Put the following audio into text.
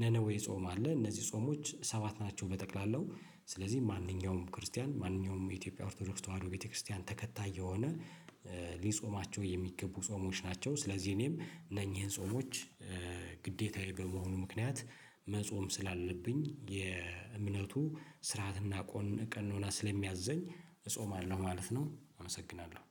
ነነዌ ጾም አለ እነዚህ ጾሞች ሰባት ናቸው። በጠቅላላው ስለዚህ ማንኛውም ክርስቲያን ማንኛውም የኢትዮጵያ ኦርቶዶክስ ተዋህዶ ቤተክርስቲያን ተከታይ የሆነ ሊጾማቸው የሚገቡ ጾሞች ናቸው። ስለዚህ እኔም እነኚህን ጾሞች ግዴታዬ በመሆኑ ምክንያት መጾም ስላለብኝ የእምነቱ ስርዓትና ቆን ቀኖና ስለሚያዘኝ እጾማለሁ ማለት ነው። አመሰግናለሁ።